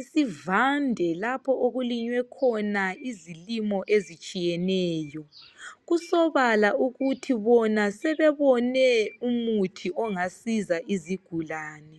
isivande lapho okulinywe khona izilimo ezitshiyeneyo. Kusobala ukuthi bona sebebone umuthi ongasiza izigulane.